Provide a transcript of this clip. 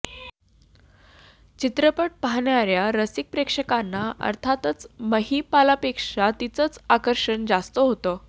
चित्रपट पाहणार्या रसिक प्रेक्षकांना अर्थातच महिपालपेक्षा तिचंच आकर्षण जास्त होतं